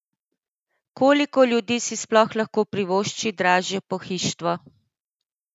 Koliko ljudi si sploh lahko privošči dražje pohištvo?